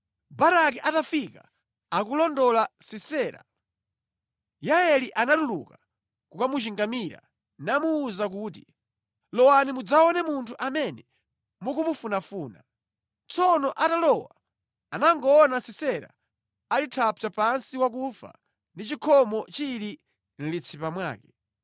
Baraki atafika akulondola Sisera, Yaeli anatuluka kukamuchingamira namuwuza kuti, “Lowani mudzaone munthu amene mukumufunafuna.” Tsono atalowa anangoona Sisera ali thapsa pansi wakufa ndi chikhomo chili mʼmutu mwake.